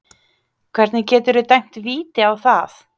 Hvernig geturðu dæmt víti á það?